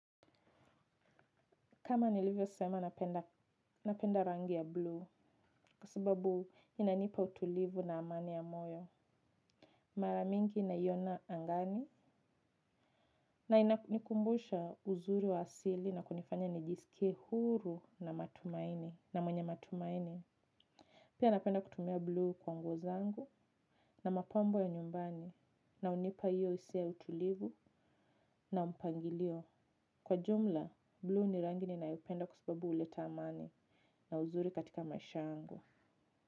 Kama nilivyosema napenda rangi ya blue, kwa sababu inanipa utulivu na amani ya moyo. Mara mingi naiona angani, na inakumbusha uzuri wa asili na kunifanya nijisikie huru na matumaini, na mwenye matumaini. Pia napenda kutumia blue kwa nguo zangu na mapambo ya nyumbani, na hunipa hiyo hisia utulivu na mpangilio. Kwa jumla, blue ni rangi ninayoipenda kwa sababu huleta amani na uzuri katika maisha yangu.